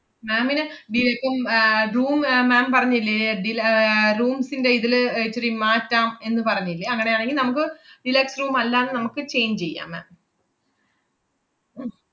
ma'am ന് ഡി~ ഇപ്പം ആഹ് room ma'am പറഞ്ഞില്ലേ ഡീല~ ആഹ് rooms ന്‍റെ ഇതില് ഏർ ഇച്ചിരി മാറ്റാം എന്നു പറഞ്ഞില്ലേ അങ്ങനെയാണെങ്കി നമ്മുക്ക് deluxe room അല്ലാന്ന് നമ്മക്ക് change ചെയ്യാം ma'am